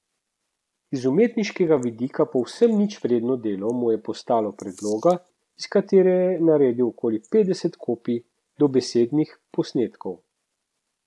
Iz umetniškega vidika povsem ničvredno delo mu je postalo predloga, iz katere je naredil okoli petdeset kopij, dobesednih posnetkov.